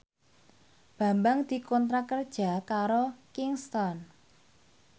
Bambang dikontrak kerja karo Kingston